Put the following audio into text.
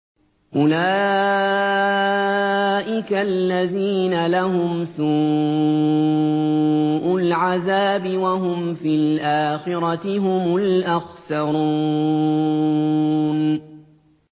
أُولَٰئِكَ الَّذِينَ لَهُمْ سُوءُ الْعَذَابِ وَهُمْ فِي الْآخِرَةِ هُمُ الْأَخْسَرُونَ